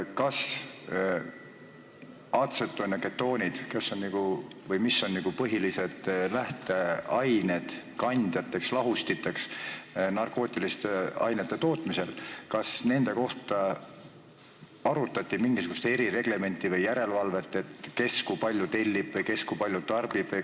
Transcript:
Kas atsetooni ja ketoonide puhul, mis on põhilised lähteained, kandjad ja lahustid narkootiliste ainete tootmisel, arutati mingisugust erireglementi või järelevalvet, kes kui palju tellib või kes kui palju tarbib?